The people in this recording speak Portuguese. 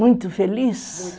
Muito feliz? Muito